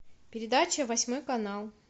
передача восьмой канал